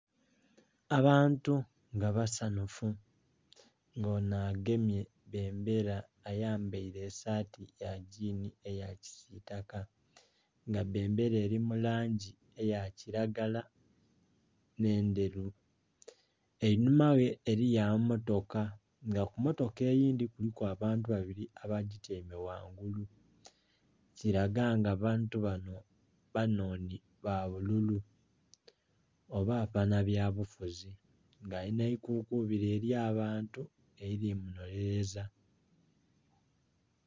Abantu nga basanhufu. Nga onho agemye bendera ayambaile esaati ya gyiini eya kisitaka. Nga bendera eli mu langi eya kilagala nh'endheru. Einhuma ghe eliyo amammotoka nga ku mmotoka eyindhi kuliku abantu babili abagityaime ghangulu. Kilaga nga abantu bano banhonhi ba bululu oba abanabyabufuzi. Nga alina ebikukubili ely'abantu elili munhonheleza.